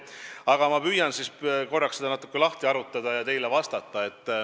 Aga püüan seda natuke lahti harutada ja teile vastata.